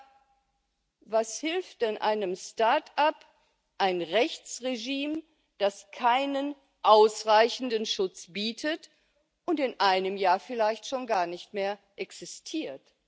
Aber was hilft denn einem Start up ein Rechtsregime, das keinen ausreichenden Schutz bietet und in einem Jahr vielleicht schon gar nicht mehr existiert?